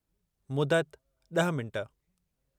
मुदत: – 10 मिंट